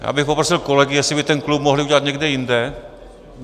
Já bych poprosil kolegy, jestli by ten klub mohli udělat někde jinde.